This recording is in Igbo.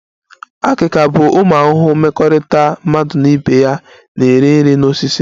Akika bụ ụmụ ahụhụ mmekọrịta mmadụ na ibe ya na-eri nri na osisi